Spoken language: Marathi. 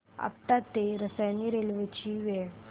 आपटा ते रसायनी रेल्वे ची वेळ